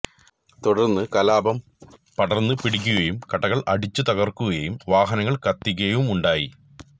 തുടര്ന്ന് കലാപം പടര്ന്നു പിടിക്കുകയും കടകള് അടിച്ചു തകര്ക്കുകയും വാഹനങ്ങള് കത്തിക്കുകയുമുണ്ടായി